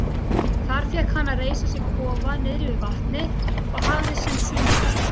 Þar fékk hann að reisa sér kofa niðri við vatnið og hafði sem sumarbústað.